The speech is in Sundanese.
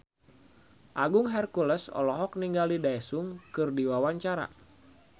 Agung Hercules olohok ningali Daesung keur diwawancara